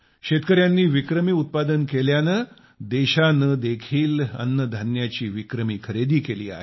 शेतकर्यांनी विक्रमी उत्पादन केल्याने देशाने देखील अन्नधान्याची विक्रमी खरेदी केली आहे